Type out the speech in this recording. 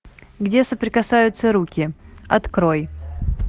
где соприкасаются руки открой